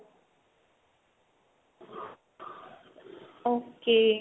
okay